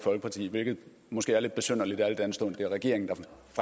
folkeparti hvilket måske er lidt besynderligt al den stund at det er regeringen